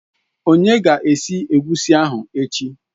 Onye ga-esi Egusi ahụ echi?